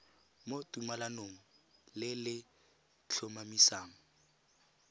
mo tumalanong le le tlhomamisang